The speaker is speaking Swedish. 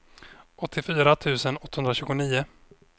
åttiofyra tusen åttahundratjugonio